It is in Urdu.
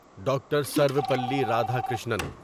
ڈاکٹر سرویپلی رادھاکرشنن